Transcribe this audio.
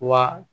Wa